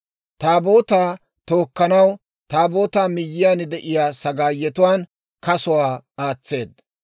Taabootaa tookkanaw, Taabootaa miyyiyaan de'iyaa sagaayetuwaan kasuwaa aatseedda.